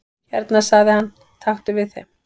"""Hérna sagði hann, taktu við þeim"""